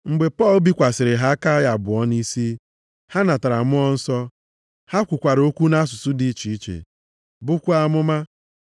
Mgbe Pọl bikwasịrị ha aka ya abụọ nʼisi, ha natara Mmụọ Nsọ. Ha kwukwara okwu nʼasụsụ dị iche iche, bukwaa amụma.